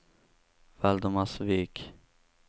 Valdemarsvik